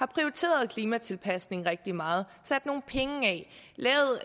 prioriteret klimatilpasning rigtig meget sat nogle penge af lavet